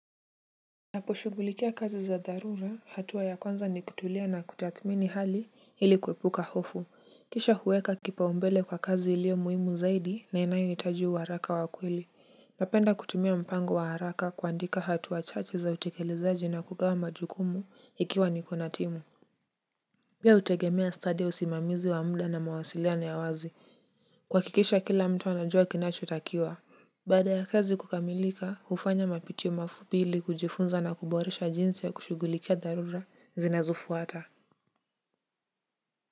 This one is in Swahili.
Naposhugulikia kazi za dharura hatua ya kwanza ni kutulia na kutathmini hali ili kuepuka hofu. Kisha huweka kipaumbele kwa kazi ilio muhimu zaidi na inayoitaji uharaka wa kweli. Napenda kutumia mpango wa haraka kuandika hatua chache za utekelezaji na kugawa majukumu ikiwa niko na timu. Pia utegemea study usimamizi wa muda na mawasiliano ya wazi kuhakikisha kila mtu anajua kinacho takiwa. Baada ya kazi kukamilika hufanya mapitio mafupi ili kujifunza na kuboresha jinsi ya kushugulikia dharura zinazufuata.